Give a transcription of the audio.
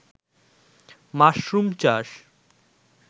mushroom চাষ